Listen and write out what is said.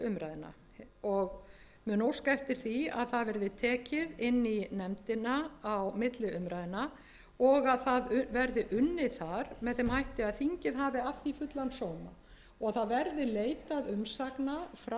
umræðna og mun óska eftir því að það verði tekið inn í nefndina á milli umræðna og að það verði unnið þar með þeim hætti að þingið hafi af því fullan sóma það verði leitað umsagna frá sveitarfélögunum